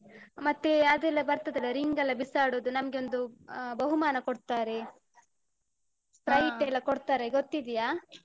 ಮತ್ತೆ ಅದೆಲ್ಲ ಬರ್ತದೆಲ್ಲ ring ಎಲ್ಲ ಬಿಸಾಡುದು, ನಮ್ಗೆ ಒಂದು ಆ ಬಹುಮಾನ ಕೊಡ್ತಾರೆ. ಎಲ್ಲಾ ಕೊಡ್ತಾರೆ ಗೊತ್ತಿದ್ಯ.